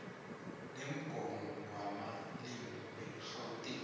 lomgomo wamalimi wegauteng